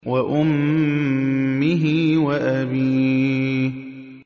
وَأُمِّهِ وَأَبِيهِ